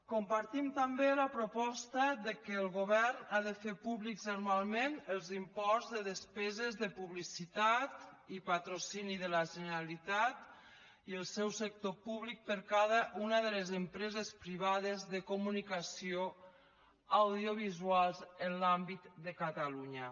compartim també la proposta que el govern ha de fer públics anualment els imports de despeses de publicitat i patrocini de la generalitat i del seu sector públic per a cada una de les empreses privades de comunicació audiovisual en l’àmbit de catalunya